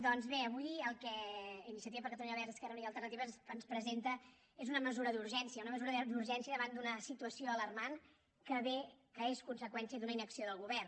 doncs bé avui el que iniciativa per catalunya verds esquerra unida i alternativa ens presenta és una mesura d’urgència una mesura d’urgència davant d’una situació alarmant que és conseqüència d’una inacció del govern